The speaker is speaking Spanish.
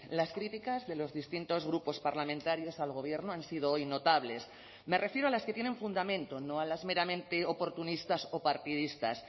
las críticas de los distintos grupos parlamentarios al gobierno han sido hoy notables me refiero a las que tienen fundamento no a las meramente oportunistas o partidistas